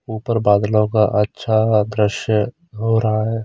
ऊपर बादलो का अच्छा दृश्य हो रहा है।